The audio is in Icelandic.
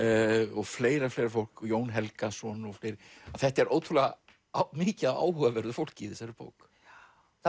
og fleira og fleira fólk Jón Helgason og fleiri að þetta er ótrúlega mikið af áhugaverðu fólki í þessari bók það